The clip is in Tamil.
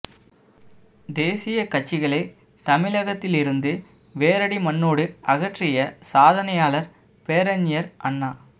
தேசிய கட்சிகளை தமிழகத்திலிருந்து வேரடி மண்ணோடு அகற்றிய சாதனையாளர் பேரறிஞர் அண்ணா